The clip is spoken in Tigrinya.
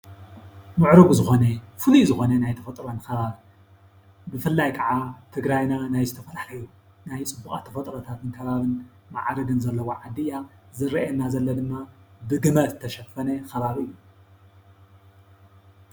ሙዑሩጉ ዝኮነ ፍሉይ ዝኮነ ናይ ተፈጥሮ ከባብን፣ ብፍላይ ከዓ ትግራይና ናይ ዝተፈላለዩ ናይ ፁቡቃት ተፈጥሮን ከባብን ማዓርግን ዘለዋ ዓዲ እያ። ዝረእየና ዘሎ ድማ ብግመ ዝተሸፈነ ከባቢ እዩ፡፡